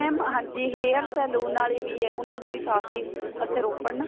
mam ਹਾਂਜੀ hair saloon ਵਾਲੀ ਵੀ ਏ ਉਹਨਾ ਦੇ ਵੀ ਕਾਫੀ ਇੱਥੇ ਰੋਪੜ ਨਾ